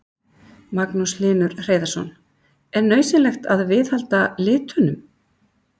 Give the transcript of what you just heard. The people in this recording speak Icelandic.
Magnús Hlynur Hreiðarsson: Er nauðsynlegt að viðhalda litunum?